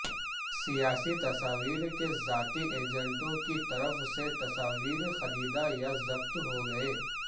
سیاسی تصاویر کے ذاتی ایجنٹوں کی طرف سے تصاویر خریدا یا ضبط ہوگئے